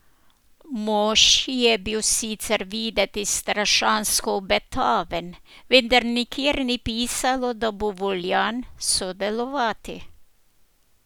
Mož je bil sicer videti strašansko obetaven, vendar nikjer ni pisalo, da bo voljan sodelovati.